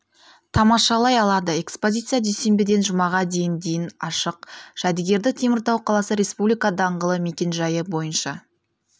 тамашалай алады экспозиция дүйсенбіден жұмаға дейін дейін ашық жәдігерді теміртау қаласы республика даңғылы мекен-жайы бойынша